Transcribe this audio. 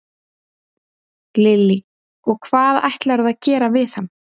Lillý: Og hvað ætlarðu að gera við hann?